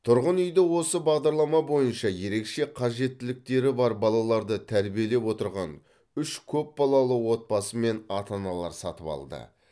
тұрғын үйді осы бағдарлама бойынша ерекше қажеттіліктері бар балаларды тәрбиелеп отырған үш көпбалалы отбасы мен ата аналар сатып алды